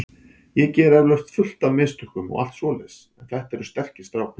Ég geri eflaust fullt af mistökum og allt svoleiðis en þetta eru sterkir strákar.